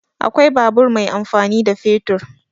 Akwai babur mai amfani da fetur.